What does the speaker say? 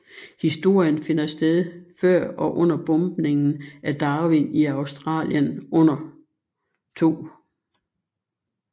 Historien finder sted før og under bombningen af Darwin i Australien under 2